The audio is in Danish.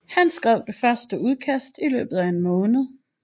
Han skrev første udkast i løbet af en måned